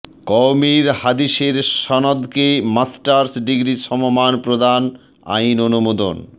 কওমীর হাদিসের সনদকে masters degree সমমান প্রদান আইন অনুমোদন